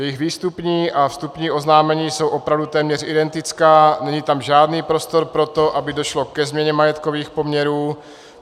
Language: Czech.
Jejich výstupní a vstupní oznámení jsou opravdu téměř identická, není tam žádný prostor pro to, aby došlo ke změně majetkových poměrů.